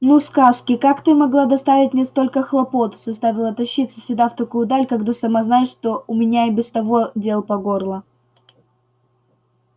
ну сказки как ты могла доставить мне столько хлопот заставила тащиться сюда в такую даль когда сама знаешь что у меня и без того дел по горло